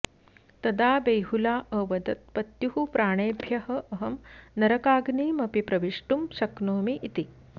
तदा बेहुला अवदत् पत्युः प्राणेभ्यः अहं नरकाग्निमपि प्रविष्टुं शक्नोमि इति